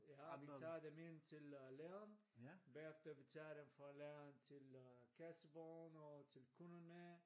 Ja vi tager dem ind til øh lageret bagefter vi tager dem fra laget til øh kassevogn og til kunderne